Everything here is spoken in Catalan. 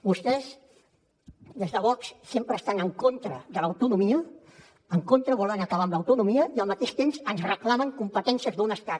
vostès des de vox sempre estan en contra de l’autonomia volen acabar amb l’autonomia i al mateix temps ens reclamen competències d’un estat